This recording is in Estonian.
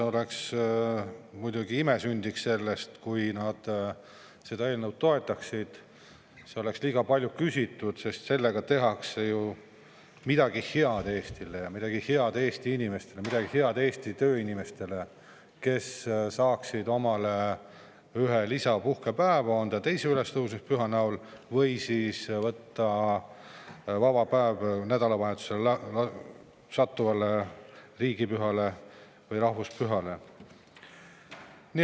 Muidugi sünniks sellest ime, kui nad seda eelnõu toetaksid, aga see oleks liiga palju küsitud, sest sellega tehakse ju Eesti jaoks midagi head, ja midagi head ka Eesti tööinimeste jaoks, kes saaksid omale ühe lisapuhkepäeva, on see 2. ülestõusmispüha näol või siis võtavad nad vaba päeva nädalavahetusele sattuva riigipüha või rahvuspüha arvelt.